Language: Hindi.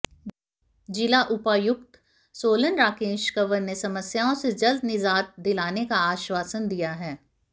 जिला उपायुक्त सोलन राकेश कंवर ने समस्याओं से जल्द निजात दिलाने का आश्वासन दिया है